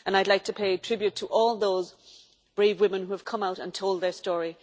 I would like to pay tribute to all those brave women who have come out and told their story